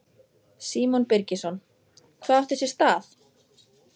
Símon Birgisson: Hvað átti sér stað?